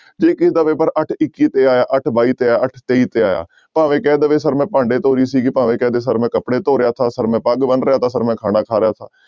ਜੇ ਕਿਸੇ ਦਾ ਪੇਪਰ ਅੱਠ ਇੱਕੀ ਤੇ ਆਇਆ, ਅੱਠ ਬਾਈ ਤੇ ਆਇਆ, ਅੱਠ ਤੇਈ ਤੇ ਆਇਆ ਭਾਵੇਂ ਕਹਿ ਦਵੇ ਸਰ ਮੈਂ ਭਾਂਡੇ ਧੋ ਰਹੀ ਸੀਗੀ ਭਾਵੇਂ ਕਹਿ ਦੇ ਸਰ ਮੈਂ ਕੱਪੜੇ ਧੋ ਰਿਹਾ ਸਾਂ ਸਰ ਮੈਂ ਪੱਗ ਬੰਨ ਰਿਹਾ ਸਾ ਸਰ ਮੈਂ ਖਾਣਾ ਖਾ ਰਿਹਾ ਸਾਂ